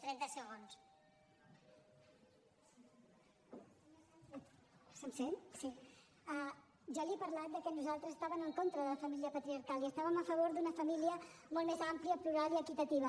se’m sent sí jo li he parlat que nosaltres estàvem en contra de la família patriarcal i estàvem a favor d’una família molt més àmplia plural i equitativa